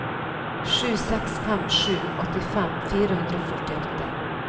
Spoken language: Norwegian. sju seks fem sju åttifem fire hundre og førtiåtte